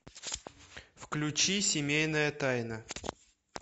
включи семейная тайна